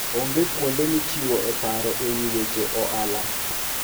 Onge kuonde michiwoe paro e wi weche ohala.